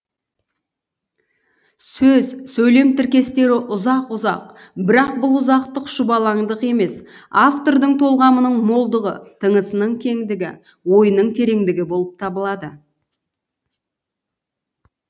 сөз сөйлем тіркестері ұзақ ұзақ бірақ бұл ұзақтық шұбаландық емес автордың толғамының молдығы тынысының кеңдігі ойының тереңдігі болып табылады